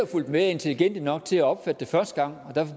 fulgt med er intelligente nok til at opfatte det første gang og derfor